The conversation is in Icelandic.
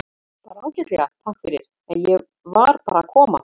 Bara ágætlega, takk fyrir, en ég var bara að koma.